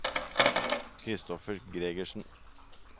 Christoffer Gregersen